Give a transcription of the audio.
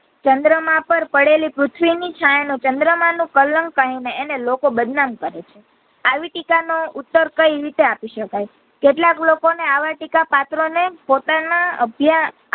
ચંદ્રમા પર પડેલ પૃથ્વીની છાયા નો ચંદ્રમાને કલંક કહીને અને અને લોકો બદનામ કરે છે આવી ટીકા નો ઉત્તર કઈ રીતે આપી શકાય કેટલાક લોકો ને આવા ટીકા પાત્ર નો પોતાના અભ્યાસ